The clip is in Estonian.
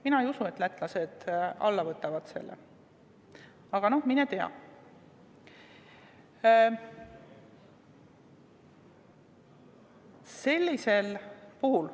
Mina ei usu, et lätlased selle tee ette võtavad, aga mine tea.